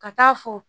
Ka taa fɔ